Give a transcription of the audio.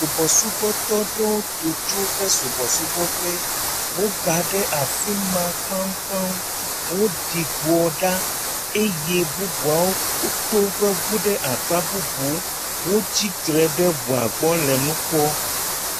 Subɔsubɔtɔ aɖewo do tso woƒe subɔsubɔƒe. woba ɖe afi ma kpaŋkpaŋ. Woɖi gbɔ ɖa eye bubuawo to woƒe ŋu ɖe akpa bubuwo. Wotsitre ɖe ŋua gbɔ le nu kpɔm.